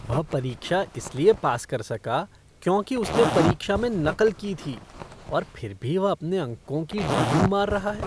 वह परीक्षा इसलिए पास कर सका क्योंकि उसने परीक्षा में नकल की थी और फिर भी वह अपने अंकों की डींग मार रहा है।